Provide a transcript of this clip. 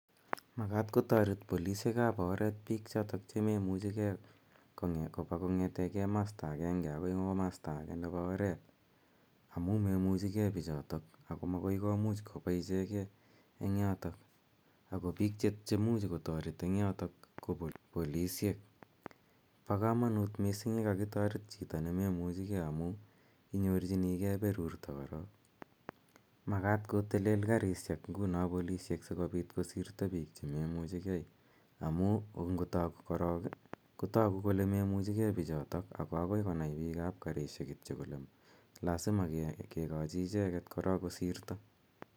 Magat kotoret polisiekab oret bik chotok che maimuchegei koba kongete komosta agenge agoi komosta age nebo oret amu meimuchigei biichoto komagoi komuch kobaisie ket eng yotok ago biik che muchi kotoret eng yoto ko polisiek. Bo kamanut mising yekakitoret chito ne memuchige amu inyorchinigei berurto korok. Magat kotelel karisiek nguno polisiek sigopit kosirto biik chememuchegei amu ngotok korok kotagu kole memuchigei biichotok ago agoi konai biikab karisiek kityo kole lasima kegochi icheget korok kosirto.